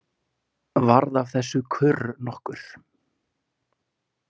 Varð af þessu kurr nokkur.